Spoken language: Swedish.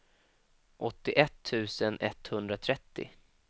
åttioett tusen etthundratrettio